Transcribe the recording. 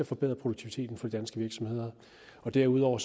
forbedre produktiviteten for de danske virksomheder derudover